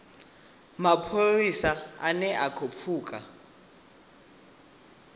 mapholisa ane a khou pfuka